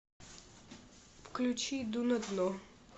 включи иду на дно